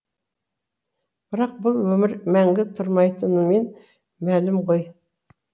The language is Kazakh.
бірақ бұл өмір мәңгі тұрмайтынымен мәлім ғой